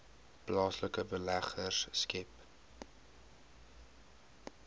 plaaslike beleggers skep